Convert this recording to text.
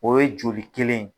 O ye joli kelen yen.